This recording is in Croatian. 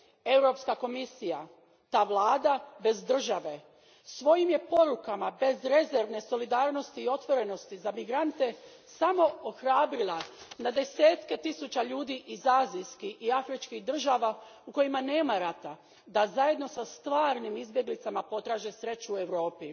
Europska komisija, ta vlada bez države svojim je porukama bezrezervne solidarnosti i otvorenosti za migrante samo ohrabrila na desetke tisuća ljudi iz azijskih i afričkih država u kojima nema rata da zajedno sa stvarnim izbjeglicama potraže sreću u Europi.